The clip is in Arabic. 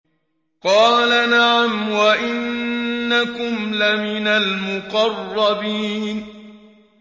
قَالَ نَعَمْ وَإِنَّكُمْ لَمِنَ الْمُقَرَّبِينَ